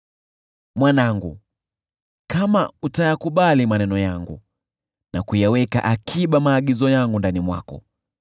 Mwanangu, kama utayakubali maneno yangu na kuyaweka akiba maagizo yangu ndani mwako,